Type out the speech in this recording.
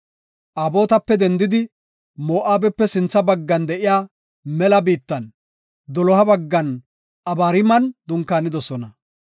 Obotape dendidi, Moo7abepe sintha baggan de7iya mela biittan, doloha baggan Abariiman dunkaanidosona.